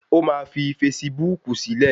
O máa fi fasibúùkù sílẹ̀